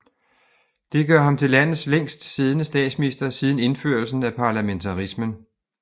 Det gør ham til landets længst siddende statsminister siden indførelsen af parlamentarismen